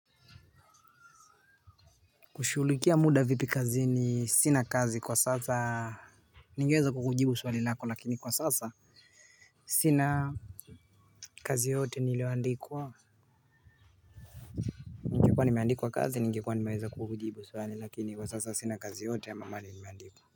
Hushughulikia muda vipi kazini? Sina kazi kwa sasa. Ningeweza kukujibu swali lako lakini kwa sasa sina. Kazi yoyote nilioandikwa. Ninekuwa nimeandikwa kazi ningekuwa nimeweza kukujibu swali lakini kwa sasa sina kazi yoteyote ama mahali nimeandikwa.